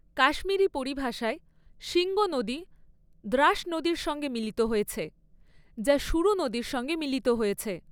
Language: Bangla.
কাশ্মীরি পরিভাষায়, শিংগো নদী দ্রাস নদীর সঙ্গে মিলিত হয়েছে, যা সুরু নদীর সঙ্গে মিলিত হয়েছে।